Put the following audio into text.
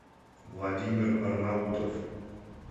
владимир арнаутов